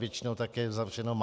Většina také zavřeno má.